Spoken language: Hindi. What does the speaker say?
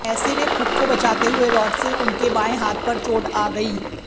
ऐसे में खुद को बचाते हुए रॅाडसे उनके बाएं हाथ पर चोट आ गई